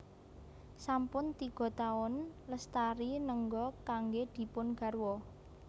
Sampun tiga taun Lestari nengga kanggé dipun garwa